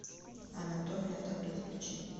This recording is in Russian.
анатомия тату включи